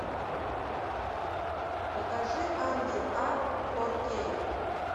покажи ангел а фор кей